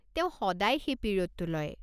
তেওঁ সদায় সেই পিৰিয়ডটো লয়।